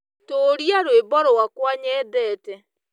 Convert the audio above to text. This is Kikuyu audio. Tuuria rwĩmbo rwakwa nyendete